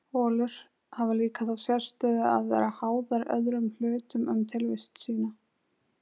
Holur hafa líka þá sérstöðu að vera háðar öðrum hlutum um tilvist sína.